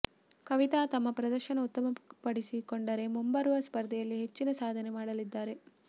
ಕವಿತಾ ತಮ್ಮ ಪ್ರದರ್ಶನ ಉತ್ತಮಪಡಿಸಿಕೊಂಡರೆ ಮುಂಬರುವ ಸ್ಪರ್ಧೆಯಲ್ಲಿ ಹೆಚ್ಚಿನ ಸಾಧನೆ ಮಾಡಲಿದ್ದಾರೆ